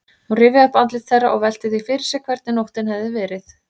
Hún rifjaði upp andlit þeirra og velti því fyrir sér hvernig nóttin hefði verið.